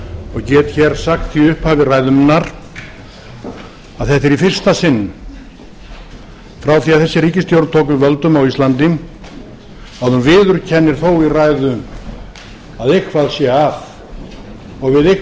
og get hér sagt í upphafi ræðu minnar að þetta er í fyrsta sinn frá því að þessi ríkisstjórn tók við völdum á íslandi að hún viðurkennir þó í ræðu að eitthvað sé að og við eitthvað